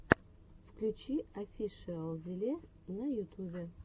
включи офишиалзеле на ютубе